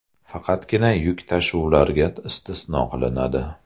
Faqatgina yuk tashuvlarga istisno qilinadi.